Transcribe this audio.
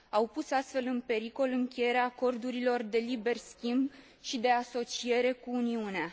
Au pus, astfel, în pericol încheierea acordurilor de liber schimb și de asociere cu Uniunea.